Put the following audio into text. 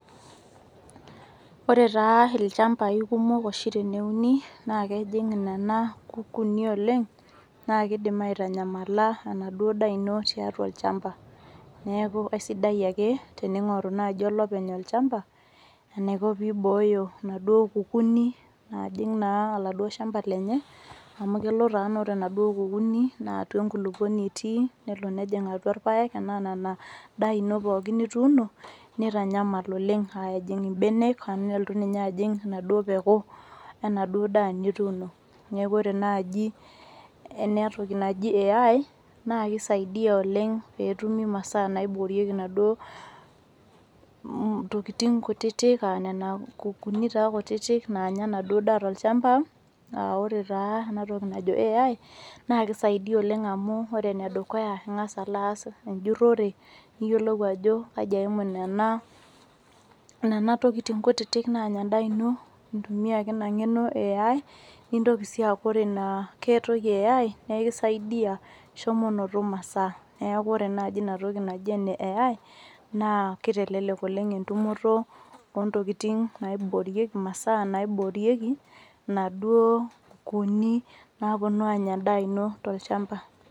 Ore taa ilchambai kumok oshi teneuni naa kejing nena kukuni oleng naa kidim aitanyamala enaduo daa ino tiatua olchamba neaku aisidai ake teninguru olopeny olchamba eniko pee ibooyo inaduo kukuni naajing naa aladuo shamba lenye amu kelo taa naa ore naaduo kukunik naa atua nkulupuoni etii nelo nejing atua irpaek anaa enaduo daa ino pooki nituuno nitanyamal oleng ejing ibenek anaa elotu ninye ajing atua enaduo peeku enaduo daa nituno neaku wore naaji enatoki naji AI naa kisaidia oleng peetumi masaa naiborieki inaduo tokin kutiti ah nena kukuni taa kutiti nanya enaduo daa tolchamba ah wore taa enatoki najo AI naa kisaidia oleng amu ore ene dukuya naa ingas alo ass ujurore niyiolou ajo kaji eimu nena tokitin kutiti naanya endaa ino itumia ake ina ngeno ee AI nitoki sii aaku ore ina ake toki eh AI kisaidia shomo noto masaa neaku ore naaji inatoki ee AI naa kitelelek oleng etumoto o ntokitin naiborieki inaduo kukuni naaponu anya endaa ino tolchamba.